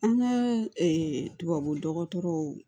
An ka tubabu dɔgɔtɔrɔw